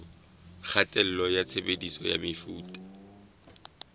kgatello ya tshebediso ya mefuta